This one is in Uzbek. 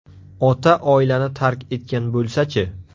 Ota oilani tark etgan bo‘lsa-chi?